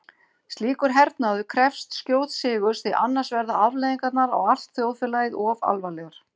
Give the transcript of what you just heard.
Slíkur hernaður krefst skjóts sigurs því annars verða afleiðingarnar á allt þjóðfélagið of alvarlegar.